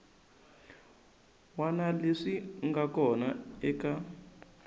wana leswi nga kona eka